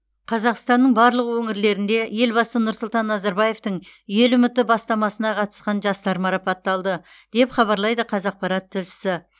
қазақстанның барлық өңірлерінде елбасы нұрсұлтан назарбаевтың ел үміті бастамасына қатысқан жастар марапатталды деп хабарлайды қазақпарат тілшісі